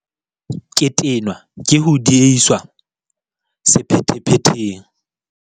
Ke tenwa ke ho diehiswa sephethephetheng.